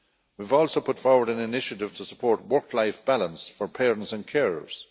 We have also put forward an initiative to support work life balance for parents and carers.